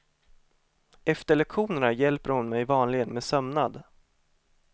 Efter lektionerna hjälper hon mig vanligen med sömnad.